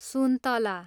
सुन्तला